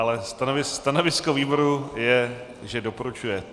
Ale stanovisko výboru je, že doporučuje.